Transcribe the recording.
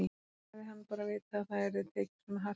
Hefði hann bara vitað að það yrði tekið svona hart á þessu!